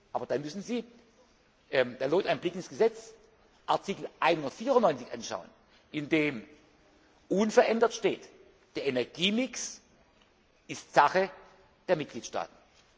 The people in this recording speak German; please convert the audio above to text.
zu gehen. Aber dann müssen Sie da lohnt ein Blick ins Gesetz Artikel 194 anschauen, in dem unverändert steht Der Energiemix ist Sache der Mitgliedstaaten.